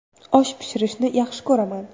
Osh pishirishni yaxshi ko‘raman.